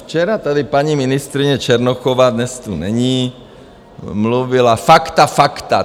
Včera tady paní ministryně Černochová - dnes tu není - mluvila: fakta, fakta.